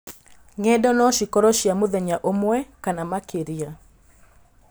Ngendo no cikorwo cia mũthenya ũmwe kana makĩria.